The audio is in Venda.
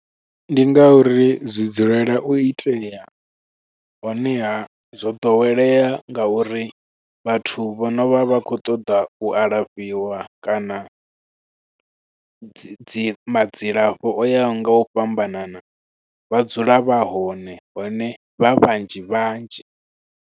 Ndi nga uri zwi dzulela u itea, honeha zwo ḓowelea nga uri vhathu vho no vha vha kho ṱoḓa u alafhiwa kana dzi madzilafho o yaho nga u fhambanana. Vha dzula vha hone, hone vha vhanzhi vhanzhi.